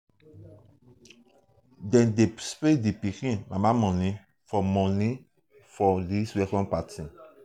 dem dey spray di pikin mama moni for mama moni for di welcome party.